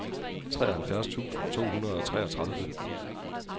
treoghalvfjerds tusind to hundrede og treogtredive